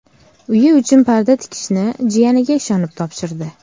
Uyi uchun parda tikishni jiyaniga ishonib topshirdi.